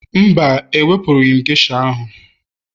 Mba, ewepụrụ m geisha ahụ